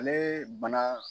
Ale bana